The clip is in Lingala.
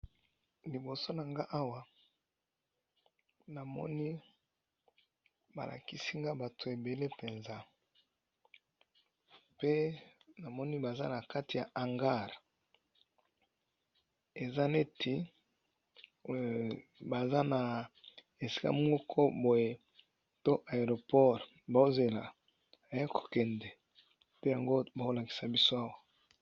Liboso na nga awa namoni bala kisinga bato ebele mpenza. Pe namoni baza na kati ya hangar eza neti baza na esika moko boye to aeroport bozela ye kokende te yango bakolakisa biso awa.